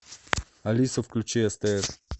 алиса включи стс